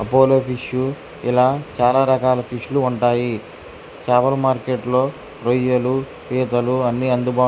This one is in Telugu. అపోలో ఫిషు ఇలా చాలా రకాల ఫిషు లు ఉంటాయి. చాపల మార్కెట్లో రొయ్యలు పీతలు అన్ని అందుబాటు --